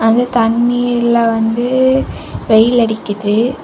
அந்த தண்ணியில வந்து வெயில் அடிக்குது.